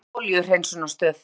Sprenging í olíuhreinsunarstöð